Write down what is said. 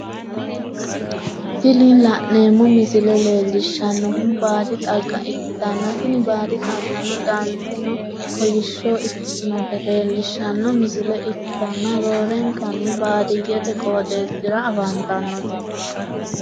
Tini la'neemmo misile leellishshannohu baadi xagga ikkitanna, tini baadi xaggano danseno kolishsho ikkitinota leellishshanno misile ikkitanna, roorenkanni baadiyyete qooxeesira afantannote.